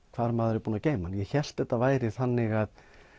hvar maður er búinn að geyma hann ég hélt að þetta væri þannig